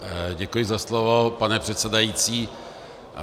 Děkuji za slovo, pane předsedající.